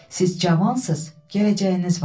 Siz cavansız, gələcəyiniz var.